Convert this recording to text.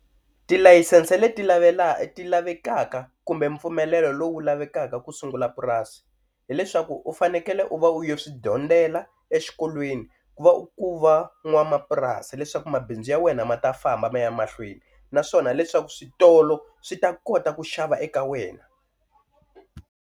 Tilayisense leti lavela ti lavekaka kumbe mpfumelelo lowu lavekaka ku sungula purasi, hileswaku u fanekele u va u ya swi dyondzela exikolweni ku va u va n'wamapurasi leswaku mabindzu ya wena ma ta famba ma ya mahlweni naswona leswaku switolo swi ta kota ku xava eka wena.